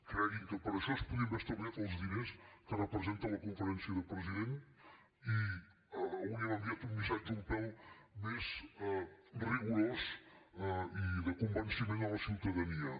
creguin que per a això es podrien haver estalviat els diners que representa la conferència de presidents i hauríem enviat un missatge un pèl més rigorós i de convenciment a la ciutadania